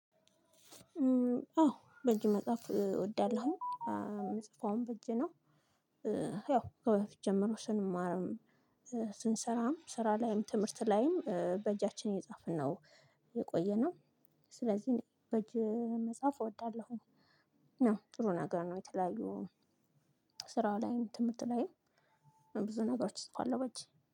አዎ በእጅ መጽሐፍ እወዳለሁ የምጽፈውም በእጅ ነው። ያው ከበፊት ጀምሮ ስንማርም ስንሰራም ስራ ላይም ትምህርት ላይም በእጃችን እየጻፍን ነው የቆየነው። ስለዚህ እኔ በእጅ መጽሐፍ እወዳለሁኝ። ጥሩ ነገር ነው። የተለያዩ ስራ ላይም ትምህርት ላይም ብዙ ነገሮች እጽፋለሁ በእጅ